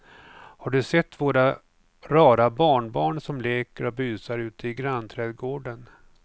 Har du sett våra rara barnbarn som leker och busar ute i grannträdgården!